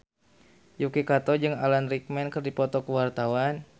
Yuki Kato jeung Alan Rickman keur dipoto ku wartawan